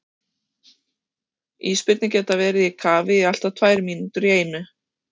Ísbirnir geta verið í kafi í allt að tvær mínútur í einu.